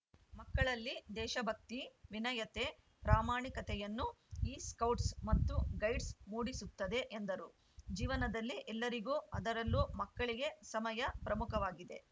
ಮಕ್ಕಳಲ್ಲಿ ದೇಶ ಭಕ್ತಿ ವಿನಯತೆ ಪ್ರಾಮಾಣಿಕತೆಯನ್ನು ಈ ಸ್ಕೌಟ್ಸ್‌ ಮತ್ತು ಗೈಡ್ಸ್‌ ಮೂಡಿಸುತ್ತದೆ ಎಂದರು ಜೀವನದಲ್ಲಿ ಎಲ್ಲರಿಗೂ ಅದರಲ್ಲೂ ಮಕ್ಕಳಿಗೆ ಸಮಯ ಪ್ರಮುಖವಾಗಿದೆ